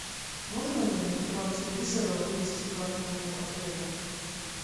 можно ли на экран телевизора вывести карту отеля